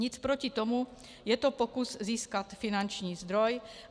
Nic proti tomu, je to pokus získat finanční zdroj.